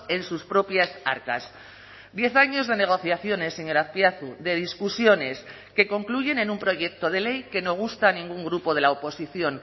en sus propias arcas diez años de negociaciones señor azpiazu de discusiones que concluyen en un proyecto de ley que no gusta a ningún grupo de la oposición